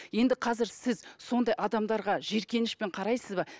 енді қазір сіз сондай адамдарға жиіркенішпен қарайсыз ба